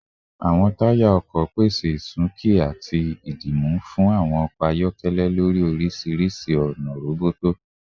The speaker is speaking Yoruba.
Awọn taya ọkọ pese isunki ati dimu fun awọn ọkọ ayọkẹlẹ lori orisirisi ona roboto